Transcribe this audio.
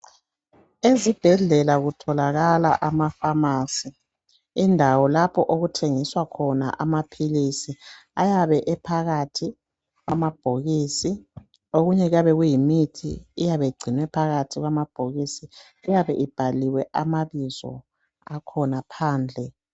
Ezibhedlela kutholakala amafamasi indawo lapho okuthengiswa khona amaphilisi ayabe ephakathi kwamabhokisi okunye kuyabe kuyimithi eyabe ingcinwe phakathi kwamabhokisi eyabe ibhaliwe amabizo akhona phandle.